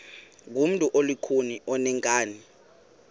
ngumntu olukhuni oneenkani